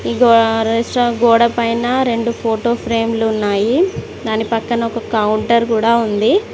ఈ రెస్టారెంట్ గోడ పైన రెండు ఫోటో ఫ్రేమ్లు ఉన్నాయి. దాని పక్కన ఒక కౌంటర్ కూడా ఉంది.